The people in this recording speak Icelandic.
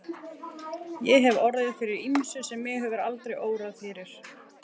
Ég hef orðið fyrir ýmsu sem mig hefði aldrei órað fyrir.